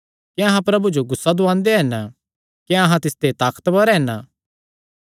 क्या अहां प्रभु जो गुस्सा दुआंदे हन क्या अहां तिसते ताकतवर हन